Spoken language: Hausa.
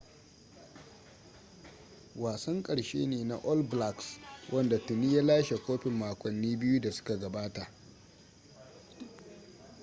wasan karshe ne na all blacks wanda tuni ya lashe kofin makonni biyu da suka gabata